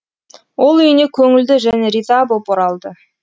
ол үйіне көңілді және риза боп оралды